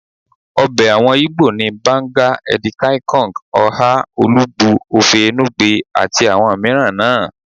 Ọbẹ̀ àwọn igbó ni, banga, edi kai Kong, oha, olugbu, ofe enugbe àti àwọn mìíràn náà